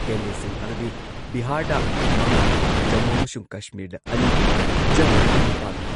ꯀꯦꯟꯗ꯭꯭ꯔꯁꯤꯡ ꯑꯗꯨꯗꯤ ꯕꯤꯍꯥꯔꯗ ꯃꯉꯥ, ꯖꯃꯨ ꯑꯃꯁꯨꯡ ꯀꯁꯃꯤꯔꯗ ꯑꯅꯤ, ꯓꯔꯈꯟꯗ ꯅꯤꯄꯥꯟ ,